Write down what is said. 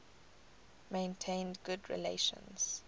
maintained good relations